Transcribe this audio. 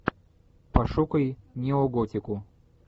пошукай неоготику